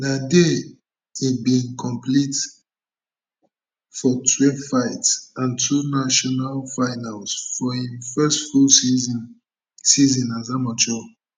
na dia e bin compete for twelve fights and two national finals for im first full season season as amateur